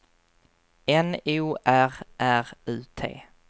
N O R R U T